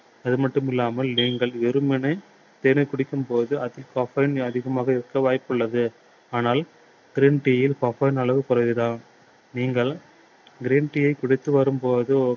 அது மட்டுமில்லாமல் நீங்கள் வெறுமனே தேனை குடிக்கும் போது அதில் caffeine அதிகமாக இருக்க வாய்ப்புள்ளது. ஆனால் green tea யில் caffeine அளவு குறைவு தான். நீங்கள் green tea குடித்து வரும்போது